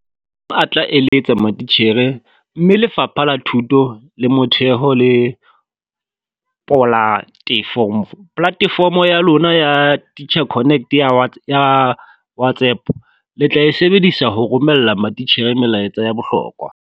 A tla eletsa matitjhere mme Lefapha la Thuto ya Motheo le polatefomo ya lona ya Teacher Connect ya whats ya WhatsApp le tla e sebedisa ho romella matitjhere melaetsa ya bohlokwa.